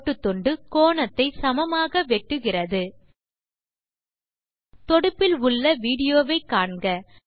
கோட்டுத்துண்டு கோணத்தை சமமாக வெட்டுகிறது தொடுப்பில் உள்ள விடியோ வை காண்க